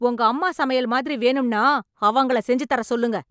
உங்க அம்மா சமையல் மாதிரி வேணும்னா அவங்கள செஞ்சுதர சொல்லுங்க